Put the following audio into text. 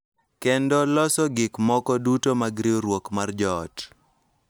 Kendo loso gik moko duto mag riwruok mar joot.